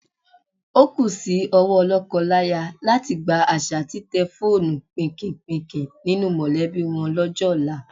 O kú sí owó lọ́kọláya láti gbá àṣà títẹ fóònù pìnkìnpìnkìn nínú mọ̀lẹ́bí wọn lọ́jọ́ ọ̀la.